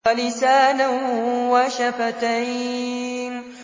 وَلِسَانًا وَشَفَتَيْنِ